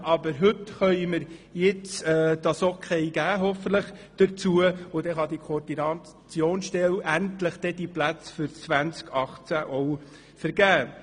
Aber heute können wir hoffentlich das Okay geben, und dann kann diese Koordinationsstelle ihre Plätze für das Jahr 2018 endlich vergeben.